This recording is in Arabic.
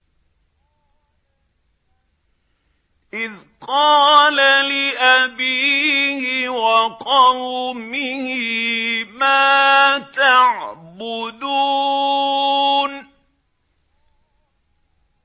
إِذْ قَالَ لِأَبِيهِ وَقَوْمِهِ مَا تَعْبُدُونَ